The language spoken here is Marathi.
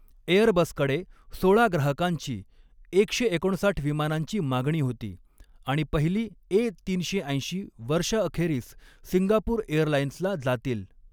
एअरबसकडे सोळा ग्राहकांची एकशे एकोणसाठ विमानांची मागणी होती आणि पहिली ए तीनशे ऐंशी वर्षअखेरीस सिंगापूर एअरलाइऩ्सला जातील.